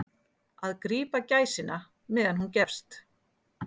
Að grípa gæsina meðan hún gefst